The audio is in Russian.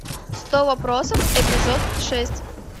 сто вопросов эпизод шесть